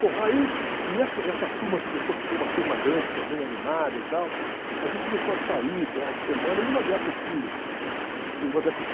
Bom, aí, e essa essa turma que depois ficou uma turma grande também, animada e tal, a gente começou a sair, finais de semana, e numa dessas que numa dessas